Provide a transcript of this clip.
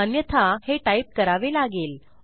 अन्यथा हे टाईप करावे लागेल